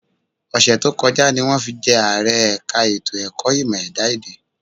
Ọ̀sẹ̀ tó kọjá ni wọ́n fi jẹ́ Ààrẹ ẹ̀ka ètò ẹ̀kọ́ ìmọ̀ ẹ̀dá-èdè